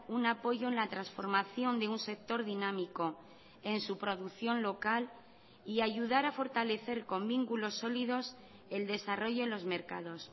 un apoyo en la transformación de un sector dinámico en su producción local y ayudar a fortalecer con vínculos sólidos el desarrollo en los mercados